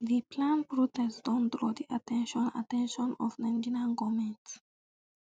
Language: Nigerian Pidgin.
di planned protests don draw di at ten tion at ten tion of nigerian goment